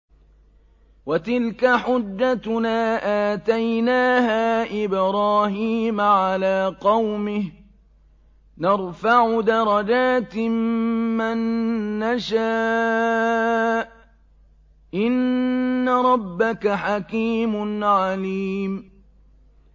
وَتِلْكَ حُجَّتُنَا آتَيْنَاهَا إِبْرَاهِيمَ عَلَىٰ قَوْمِهِ ۚ نَرْفَعُ دَرَجَاتٍ مَّن نَّشَاءُ ۗ إِنَّ رَبَّكَ حَكِيمٌ عَلِيمٌ